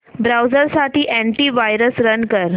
browser साठी antivirus run कर